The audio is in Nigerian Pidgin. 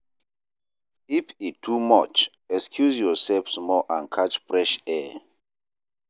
If e too much, excuse yourself small and catch fresh air.